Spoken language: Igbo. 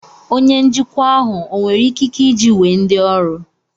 Onye njikwa ahụ ọ nwere ikike iji wee ndị ọrụ